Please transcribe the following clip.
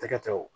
Tɛgɛ tɛ o